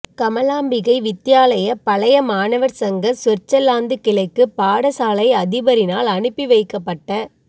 கமலாம்பிகை வித்தியாலய பழைய மாணவர் சங்க சுவிற்சர்லாந்துக் கிளைக்கு பாடசாலை அதிபரினால் அனுப்பி வைக்கப்பட்ட